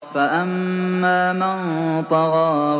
فَأَمَّا مَن طَغَىٰ